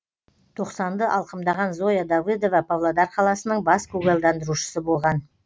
тоқсанды алқымдаған зоя давыдова павлодар қаласының бас көгалдандырушысы болған